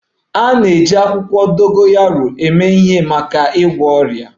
A na-eji akwụkwọ dogoyaro eme ihe maka ịgwọ ọrịa